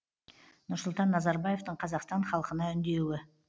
нұрсұлтан назарбаевтың қазақстан халқына үндеуі